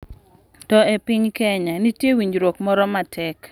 To e piny Kenya, nitie winjruok moro matek